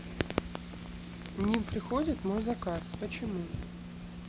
не приходит мой заказ почему